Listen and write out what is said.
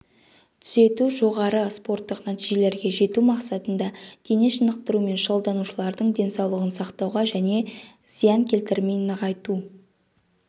түзету жоғары спорттық нәтижелерге жету мақсатында дене шынықтырумен шұғылданушылардың денсаулығын сақтауға және зиян келтірмей нығайту